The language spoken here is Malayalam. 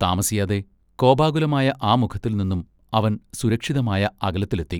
താമസിയാതെ കോപാകുലമായ ആ മുഖത്തിൽനിന്നും അവൻ സുരക്ഷിതമായ അകലത്തിലെത്തി.